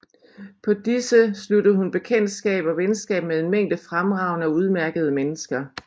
På disse sluttede hun bekendtskab og venskab med en mængde fremragende og udmærkede mennesker